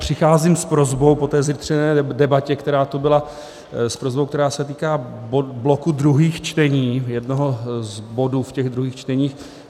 Přicházím s prosbou po té zjitřené debatě, která tu byla, s prosbou, která se týká bloku druhých čtení, jednoho z bodů v těch druhých čteních.